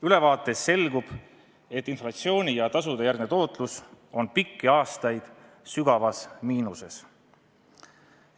Ülevaatest selgub, et inflatsiooni ja tasude järgne tootlus on pikki aastaid olnud sügavas miinuses.